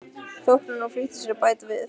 þóknun og flýtti sér að bæta við